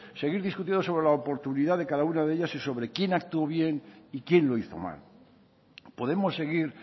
seguir discutiendo sobre la oportunidad de cada una de ellas y sobre quién actuó bien y quién lo hizo mal podemos seguir